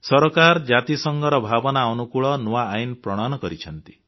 ସରକାର ଜାତିସଂଘର ଭାବନା ଅନୁକୂଳ ନୂଆ ଆଇନ ପ୍ରଣୟନ କରିଛନ୍ତି